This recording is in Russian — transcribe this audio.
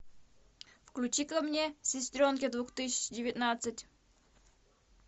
включи ка мне сестренки две тысячи девятнадцать